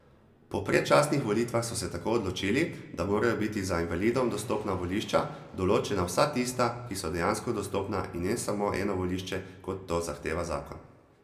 Po predčasnih volitvah so se tako odločili, da morajo biti za invalidom dostopna volišča, določena vsa tista, ki so dejansko dostopna in ne samo eno volišče, kot to zahteva zakon.